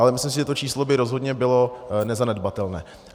Ale myslím si, že to číslo by rozhodně bylo nezanedbatelné.